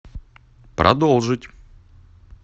продолжить